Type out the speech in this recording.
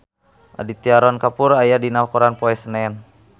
Aditya Roy Kapoor aya dina koran poe Senen